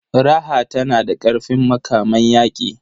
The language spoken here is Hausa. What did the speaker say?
Raha tana da ƙarfin makaman yaƙi.